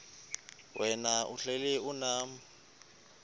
wena uhlel unam